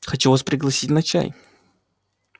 хотел вас пригласить на чай